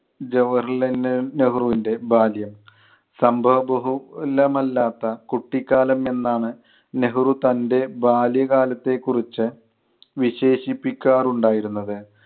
ജവഹർലാൽ നെ~ നെഹ്രുവിൻ്റെ ബാല്യം. സംഭവബഹുലമല്ലാത്ത കുട്ടിക്കാലം എന്നാണ് നെഹ്‌റു തൻ്റെ ബാല്യകാലത്തെക്കുറിച്ച് വിശേഷിപ്പിക്കാറുണ്ടായിരുന്നത്.